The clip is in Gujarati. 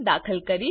દાખલ કરીશ